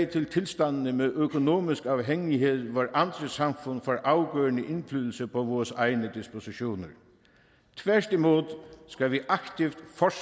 til tilstandene med økonomisk afhængighed hvor andre samfund får afgørende indflydelse på vores egne dispositioner tværtimod skal vi